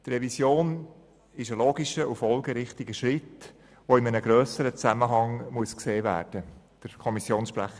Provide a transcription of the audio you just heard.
Die Revision ist ein vernünftiger und folgerichtiger Schritt, der in einem grösseren Zusammenhang gesehen werden muss.